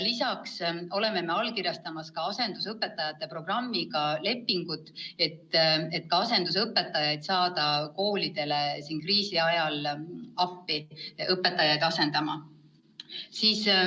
Lisaks oleme allkirjastamas ka asendusõpetajate programmiga seotud lepingut, et saada ka asendusõpetajaid koolidele kriisi ajal appi.